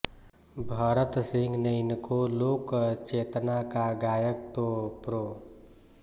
भरत सिंह ने इनको लोकचेतना का गायक तो प्रो